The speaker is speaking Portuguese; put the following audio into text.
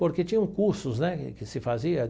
Porque tinham cursos, né, que se fazia.